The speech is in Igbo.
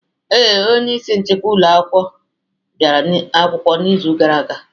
Ee, onye isi nchịkwa ụmụ akwụkwọ bịara ụlọ akwụkwọ n'izu gara aga.